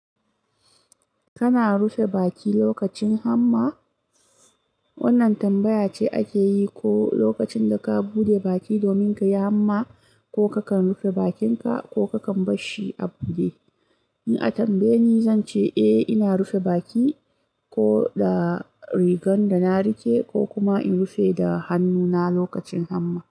Kana rufe baki lokacin hamma? Wannan tambaya ce ake yi, ko lokacin da ka bude baki domin ka yi hamma, ko kakan rufe bakinka, ko kakan bar shi a bude. In a tambaye ni, zan ce eh ina rufe baki, ko da rigan da na rike, ko kuma in rufe da hannuna lokacin hamma.